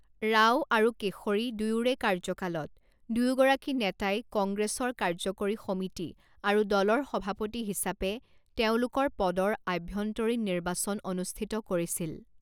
ৰাও আৰু কেশৰী দুয়োৰে কাৰ্যকালত, দুয়োগৰাকী নেতাই কংগ্ৰেছৰ কাৰ্যকৰী সমিতি আৰু দলৰ সভাপতি হিচাপে তেওঁলোকৰ পদৰ আভ্যন্তৰীণ নিৰ্বাচন অনুষ্ঠিত কৰিছিল।